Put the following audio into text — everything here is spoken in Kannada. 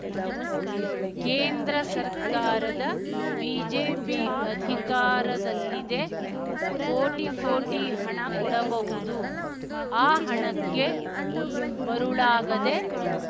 ಕೇಂದ್ರ ಸರ್ಕಾರದ ಬಿಜೆಪಿ ಅಧಿಕಾರದಲ್ಲಿದೆ ಕೋಟಿ ಕೋಟಿ ಹಣ ಕೊಡಬಹುದು ಆ ಹಣಕ್ಕೆ ಮರುಳಾಗದೆ